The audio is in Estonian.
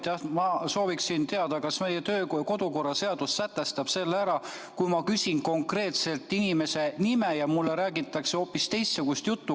Jah, ma sooviksin teada, kas meie kodu- ja töökorra seadus sätestab, mida teha, kui ma küsin konkreetselt inimese nime, aga mulle räägitakse hoopis teist juttu.